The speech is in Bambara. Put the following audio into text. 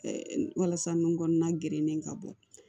walasa nun kɔnɔna gerennen ka bɔ